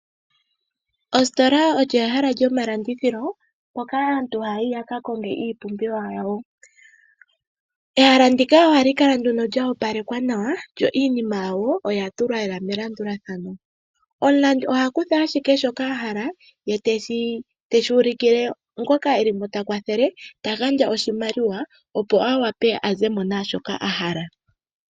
Ositola olyo ehala lyomalandithilo mpoka aantu haya yi ya ka konge iipumbiwa yawo. Ehala ndika ohali kala lyo opalekwa nawa, yo iinima yawo oya tulwa lela melandulathano. Omulandi oha kutha ashike shoka a hala ye te shi dhengitha kungoka e li mo ta kwathele, ta gandja oshimaliwa, opo a wape a ze mo naashoka a hala.